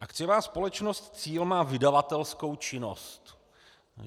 Akciová společnost Cíl má vydavatelskou činnost.